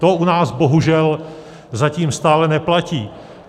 To u nás bohužel zatím stále neplatí.